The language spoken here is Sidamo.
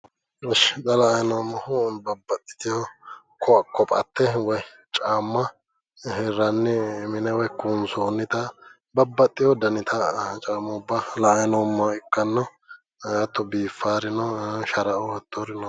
Ishshi xa la'anni noommohu kophatte woyi caamma hirranni mine kuunsoonnita babbaxxewo danita caammubba la'anni noommoha ikkanno ee hattono biiffawori no sharaoo hattiori no.